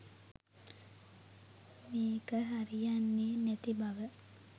මේක හරියන්නේ නැති බව.